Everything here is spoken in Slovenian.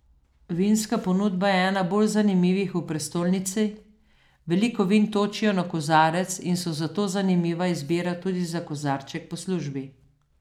Vinska ponudba je ena bolj zanimivih v prestolnici, veliko vin točijo na kozarec in so zato zanimiva izbira tudi za kozarček po službi.